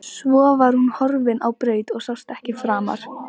Svo var hún horfin á braut og sást ekki framar.